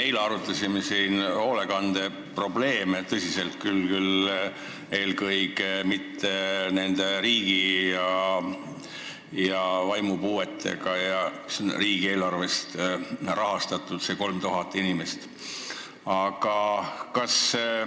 Eile me arutasime siin tõsiselt hoolekandeprobleeme, tõsi küll, eelkõige küll rääkides vaimupuudega inimestest, hoolekandeasutustes olevast 3000 inimesest ja riigieelarvest rahastamisest.